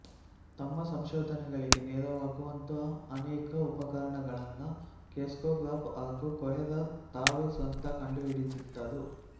ತಮ್ಮ ಸಂಶೋಧನೆಗಳಿಗೆ ನೆರವಾಗುವಂತಹ ಅನೇಕ ಉಪಕರಣಗಳನ್ನು ಕ್ರೆಸ್ಕೊಗ್ರಾಫ್ ಹಾಗು ಕೊಹೆರರ್ ತಾವೇ ಸ್ವತಃ ಕಂಡುಹಿಡಿದಿದ್ದರು